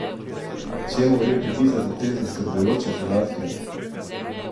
Čemu gre pripisati te zaskrbljujoče podatke?